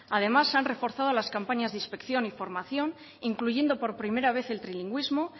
además se han reforzado las campañas de inspección y formación incluyendo por primera vez el trilingüismo